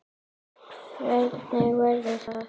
Hvernig verður það?